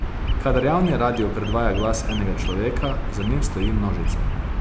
Kadar javni radio predvaja glas enega človeka, za njim stoji množica.